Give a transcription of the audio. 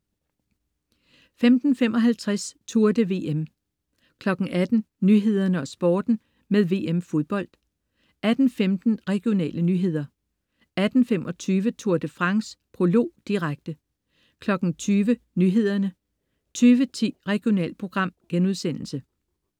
15.55 Tour de VM 18.00 Nyhederne og Sporten med VM-Fodbold 18.15 Regionale nyheder 18.25 Tour de France: Prolog, direkte 20.00 Nyhederne 20.10 Regionalprogram*